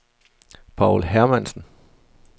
Paul Hermansen